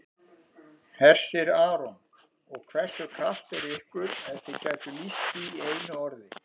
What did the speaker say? Hersir Aron: Og hversu kalt er ykkur ef þið gætuð lýst því í einu orði?